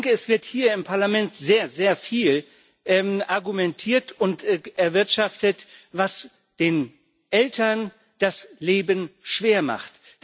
Es wird hier im Parlament sehr, sehr viel argumentiert und erwirtschaftet, was den Eltern das Leben schwer macht.